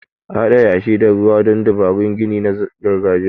A Haɗa yashi da ruwa don dabarun gini na gargajiya.